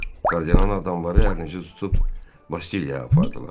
Kardinalın adamları hərincə tutub Bastilyaya apardılar.